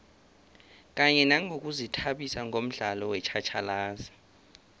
kanye nangokuzithabisa ngomdlalo wetjhatjhalazi